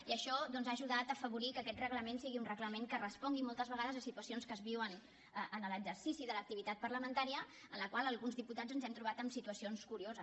i això doncs ha ajudat a afavorir que aquest reglament sigui un reglament que respongui moltes vegades a situacions que es viuen en l’exercici de l’activitat parlamentària en la qual alguns diputats ens hem trobat en situacions curioses